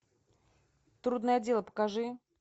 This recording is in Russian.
трудное дело покажи